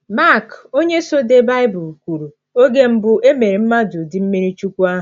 Mak, onye so dee Baịbụl, kwuru oge mbụ e mere mmadụ ụdị mmiri chukwu ahụ.